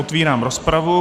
Otevírám rozpravu.